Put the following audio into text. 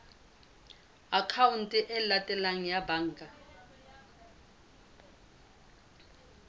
akhaonteng e latelang ya banka